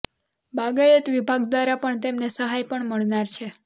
બાગાયત વિભાગ દ્વારા પણ તેમને સહાય પણ મળનાર છે